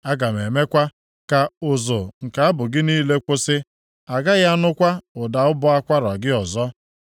Aga m emekwa ka ụzụ nke abụ gị niile kwụsị. A gaghị anụkwa ụda ụbọ akwara gị ọzọ.